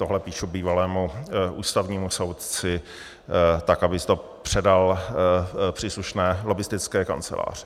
Tohle píšu bývalému ústavnímu soudci, tak aby to předal příslušné lobbistické kanceláři.